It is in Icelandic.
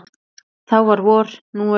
Þá var vor, nú haust.